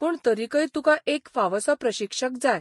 पूण तरीकय तुका एक फावसो प्रशिक्षक जाय.